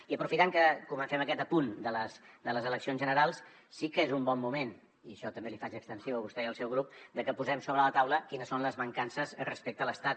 i aprofitant que comencem aquest apunt de les eleccions generals sí que és un bon moment i això també l’hi faig extensiu a vostè i al seu grup perquè posem sobre la taula quines són les mancances respecte a l’estat